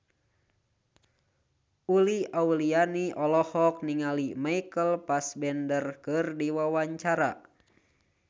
Uli Auliani olohok ningali Michael Fassbender keur diwawancara